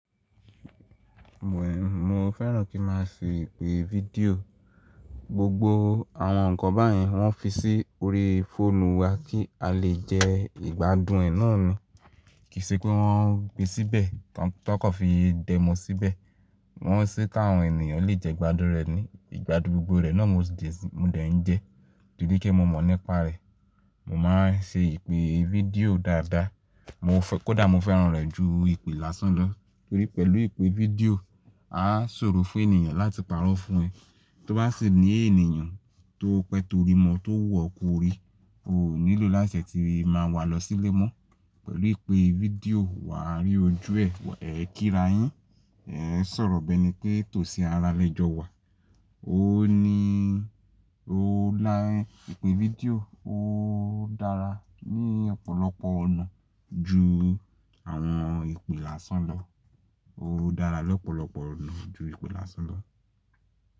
Mo fẹ́ràn kí n máa ṣe ìpè fídíò. Gbogbo àwọn ǹkan báyìí wọ́n fi sí orí fóònù wa kí a lè jẹ ìgbádùn ẹ náà ni. Kì í ṣe pé wọ́n gbé síbẹ̀ tọkọ fi dẹ́ mọ síbẹ̀. Wọ́n ṣé kí àwọn ènìyàn lè jẹ ìgbádùrẹ́ ni. Ìgbádùn gbogbo rẹ náà mo dẹ̀ ń jẹ torí pé mo mọ̀ nípa rẹ̀. Mo máa ń ṣe ìpè fídíò dáadáa. Kódà mo fẹ́ràn rẹ̀ ju ìpè lásán lọ torí pé pẹ̀lú ìpè fídíò a ṣòro fún ènìyàn láti pàrọ̀ fún ẹ. Tó bá sì ní ènìyàn tó pẹ́ tó rí mọ́, tó wu ọ̀ kò rí, kò nílò láṣẹ tí máa wá lọ sílé mọ́. Pẹ̀lú ìpè fídíò wà á rí ojú ẹ, ẹ kíra yín, ẹ sọ̀rọ̀ bẹ́ẹ̀ ni kí ètò sí ara lẹ́jọ́ wa. Ìpè fídíò ó dára ní ọ̀pọ̀lọpọ̀ ọ̀nà ju àwọn ìpè lásán lọ. Ó dára lọ́pọ̀lọpọ̀ ọ̀nà ju ìpè lásán lọ.